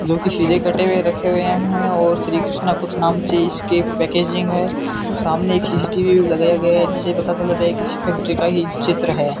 लोहे के सिरे कटे हुए रखे हैं और श्री कृष्णा कुछ नाम से इसके पैकेजिंग है सामने एक सी_सी_टी_वी लगाया गया है जिससे ये पता चल जाता है कि किसी फैक्ट्री का ही चित्र है।